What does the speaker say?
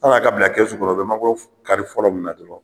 Sɔnni a ka bila kɛsu kɔnɔ u be mangoro kari fɔlɔ min na ten dɔrɔn